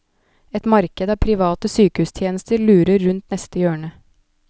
Et marked av private sykehustjenester lurer rundt neste hjørne.